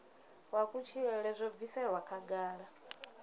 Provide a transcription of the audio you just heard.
wa kutshilele zwo bviselwa khagala